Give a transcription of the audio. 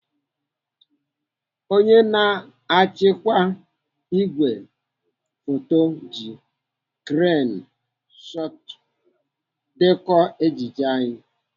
Onye na-achịkwa ìgwè foto ji kren shọtụ dekọọ ejije anyi.